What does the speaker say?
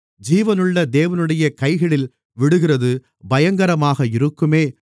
ஜீவனுள்ள தேவனுடைய கைகளில் விழுகிறது பயங்கரமாக இருக்குமே